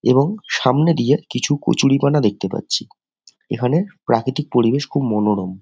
এবং সামনে দিয়ে কিছু কচুরিপানা দেখতে পাচ্ছি এখানে প্রাকৃতিক পরিবেশ খুব মনোরম।